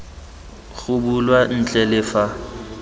go bulwa ntle le fa